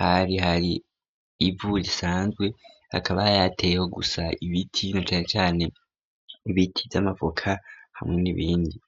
hari hari ivu risanzwe akaba yateyeho gusa ibiti nacanecane ibiti by'amavoka hamwe n'ibindi.